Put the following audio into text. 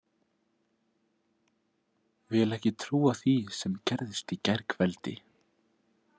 Vil ekki trúa því sem gerðist í gærkveldi.